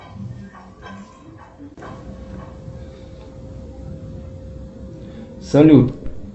салют